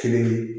Kelen ye